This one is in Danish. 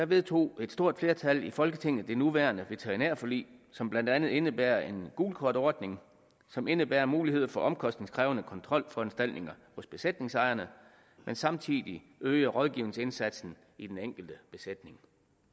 vedtog et stort flertal i folketinget det nuværende veterinærforlig som blandt andet indebærer en gult kort ordning som indebærer mulighed for omkostningskrævende kontrolforanstaltninger hos besætningsejerne men samtidig øger rådgivningsindsatsen i den enkelte besætning